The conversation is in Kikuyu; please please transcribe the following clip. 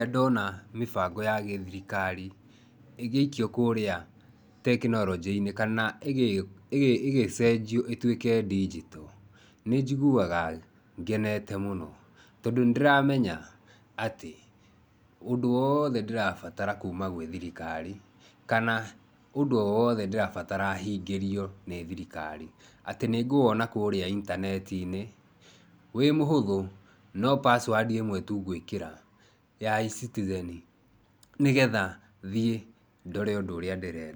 Nĩndona mĩbango ya gĩthirikari ĩgĩikio kũrĩa tekinoronjĩ-inĩ kana ĩgĩcenjio ĩtuĩke ndinjito. Nĩnjiguaga ngenete mũno tondũ nĩndĩramenya atĩ ũndũ wothe ndĩrabatara kuuma gwĩ thirikari, kana ũndũ o wothe ndĩrabatara hingĩrio nĩ thirikari atĩ nĩngũwona kũrĩa itanetinĩ wĩ mũhũthũ no password ĩmwe tu gwĩkĩra ya eCitizen nĩgetha thiĩ ndore ũndũ ũrĩa ndĩrenda.